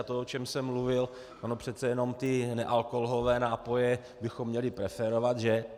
A to, o čem jsem mluvil - ono přece jenom ty nealkoholové nápoje bychom měli preferovat, že?